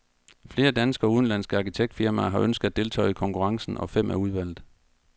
Flere danske og udenlandske arkitektfirmaer har ønsket at deltage i konkurrencen, og fem er udvalgt.